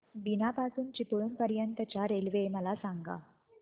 बीना पासून चिपळूण पर्यंत च्या रेल्वे मला सांगा